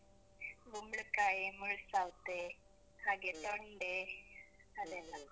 ಕುಂಬ್ಳಕಾಯಿ, ಮುಳ್ಸೌತೆ. ಹಾಗೆ ತೊಂಡೆ. ಅದೆಲ್ಲ.